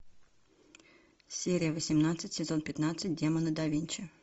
серия восемнадцать сезон пятнадцать демоны да винчи